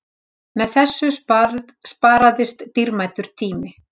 Með þessu sparaðist dýrmætur tími